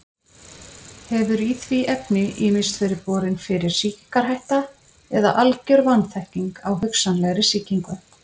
Hefur í því efni ýmist verið borin fyrir sýkingarhætta eða algjör vanþekking á hugsanlegri sýkingu.